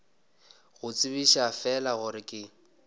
go tsebiša fela gore ke